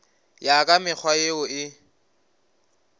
ya ka mekgwa yeo e